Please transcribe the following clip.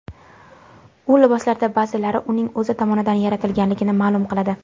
U liboslardan ba’zilari uning o‘zi tomonidan yaratilganligini ma’lum qiladi.